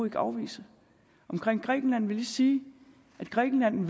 ikke afvise omkring grækenland vil jeg lige sige at grækenland